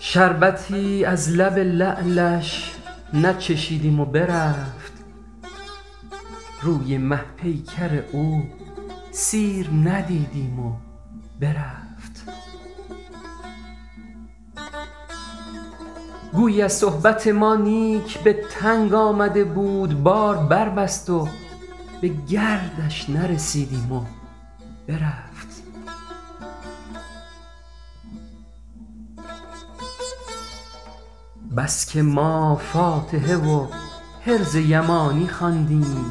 شربتی از لب لعلش نچشیدیم و برفت روی مه پیکر او سیر ندیدیم و برفت گویی از صحبت ما نیک به تنگ آمده بود بار بربست و به گردش نرسیدیم و برفت بس که ما فاتحه و حرز یمانی خواندیم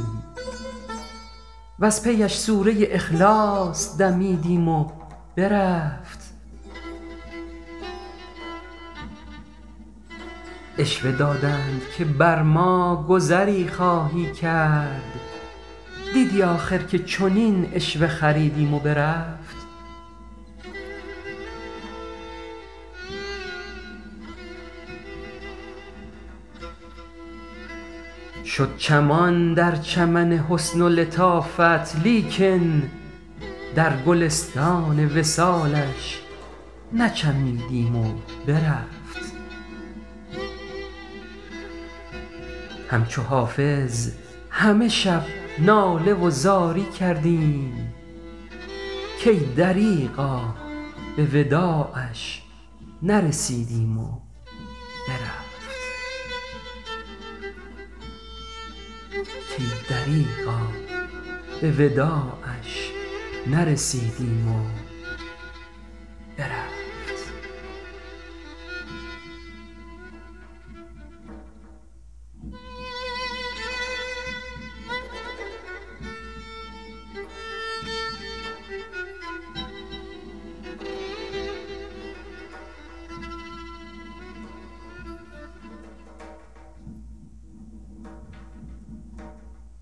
وز پی اش سوره اخلاص دمیدیم و برفت عشوه دادند که بر ما گذری خواهی کرد دیدی آخر که چنین عشوه خریدیم و برفت شد چمان در چمن حسن و لطافت لیکن در گلستان وصالش نچمیدیم و برفت همچو حافظ همه شب ناله و زاری کردیم کای دریغا به وداعش نرسیدیم و برفت